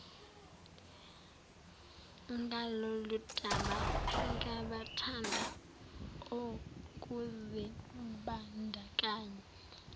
ngaloludaba nabathanda ukuzimbandakanya